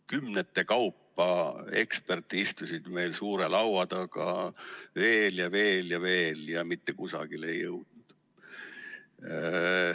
Kümnete kaupa eksperte istusid meil suure laua taga, veel ja veel ja veel, ja mitte kusagile ei jõutud.